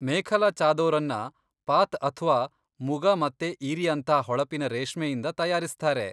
ಮೇಖಲಾ ಚಾದೊರನ್ನ ಪಾತ್ ಅಥ್ವಾ ಮುಗಾ ಮತ್ತೆ ಈರಿಯಂಥಾ ಹೊಳಪಿನ ರೇಷ್ಮೆಯಿಂದ ತಯಾರಿಸ್ತಾರೆ.